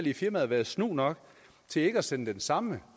i firmaet været snu nok til ikke at sende den samme